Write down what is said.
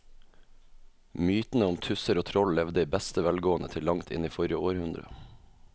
Mytene om tusser og troll levde i beste velgående til langt inn i forrige århundre.